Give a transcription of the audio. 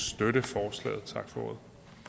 støtte forslaget tak for